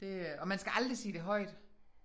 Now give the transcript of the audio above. Det øh og man skal aldrig sige det højt